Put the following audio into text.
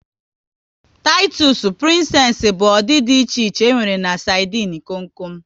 Titusu, Prinsess bụ ụdị dị iche iche e nwere na sardinu kom kom